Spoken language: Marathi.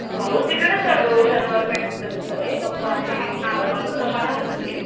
भाऊ तिकडेच रहातो शनिवार पेठेत त्याच घर आहे. पप्पा आणि